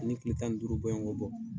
Ani kile tan duuru bɔɲɔngo bɔ.